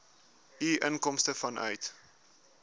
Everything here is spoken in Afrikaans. u inkomste vanuit